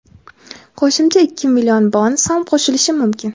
qo‘shimcha ikki million bonus ham qo‘shilishi mumkin.